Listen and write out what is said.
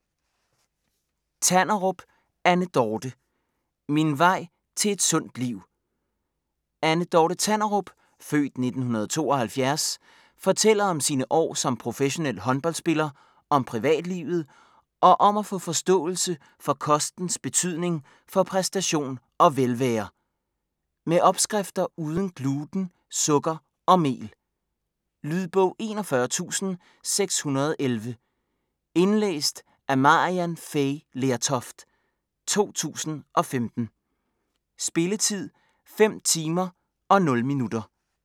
Tanderup, Anne Dorthe: Min vej til et sundt liv Anne Dorthe Tanderup (f. 1972) fortæller om sine år som professionel håndboldspiller, om privatlivet, og om at få forståelse for kostens betydning for præstation og velvære. Med opskrifter uden gluten, sukker og mel. Lydbog 41611 Indlæst af Maryann Fay Lertoft, 2015. Spilletid: 5 timer, 0 minutter.